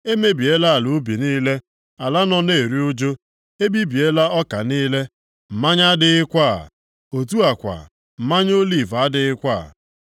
Emebiela ala ubi niile, ala nọ na-eru ụjụ. Ebibiela ọka niile, mmanya adịghịkwa, otu a kwa, mmanụ oliv adịghịkwa.